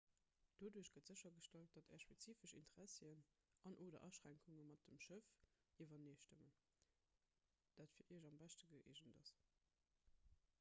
doduerch gëtt séchergestallt datt är spezifesch interessien an/oder aschränkunge mat dem schëff iwwereneestëmmen dat fir iech am beschte gëeegent ass